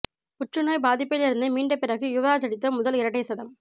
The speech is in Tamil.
புற்றுநோய் பாதிப்பில் இருந்து மீண்ட பிறகு யுவராஜ் அடித்த முதல் இரட்டை சதம்